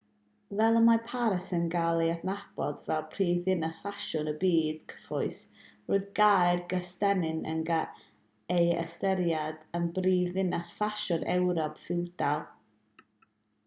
fel y mae paris yn cael ei adnabod fel prifddinas ffasiwn y byd cyfoes roedd caer gystennin yn cael ei ystyried yn brifddinas ffasiwn ewrop ffiwdal